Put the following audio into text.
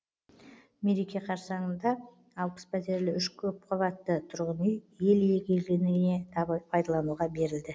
мереке қарсаңында алпыс пәтерлі үш көпқабатты тұрғын үй ел игілігіне пайдалануға берілді